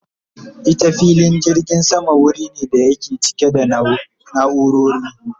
Ita filin jirgin sama wuri ne da yake cike da naurori